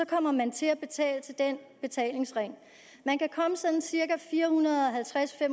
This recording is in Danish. kommer man til at betale til den betalingsring man kan komme sådan cirka fire hundrede og halvtreds til